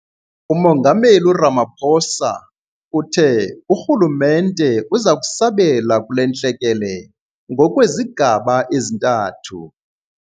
UMongameli Ramaphosa uthe urhulumente uza kusabela kule ntlekele ngokwezigaba ezintathu.